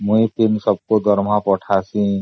ମୁଁ ସମସ୍ତଙ୍କ ଦରମା ପଠାଏ